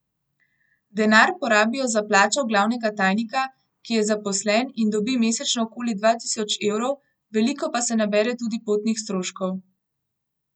Denar porabijo za plačo glavnega tajnika, ki je zaposlen in dobi mesečno okoli dva tisoč evrov, veliko pa se nabere tudi potnih stroškov.